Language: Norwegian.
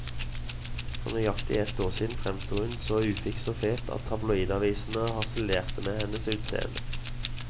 For nøyaktig ett år siden fremsto hun så ufiks og fet at tabloidavisene harselerte med hennes utseende.